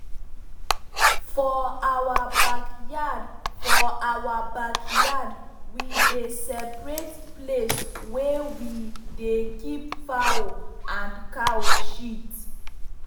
for our backyard for our backyard we dey separate place wey we dey keep fowl and cow shit.